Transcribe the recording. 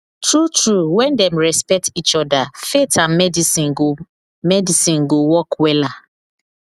true true when dem respect each other faith and medicine go medicine go work wella